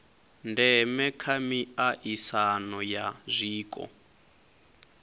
ndeme kha miaisano ya zwiko